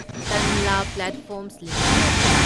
Tanla platforms limited